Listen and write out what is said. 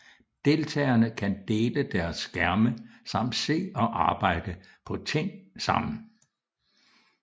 Deltagerne kan dele deres skærme samt se og arbejde på ting sammen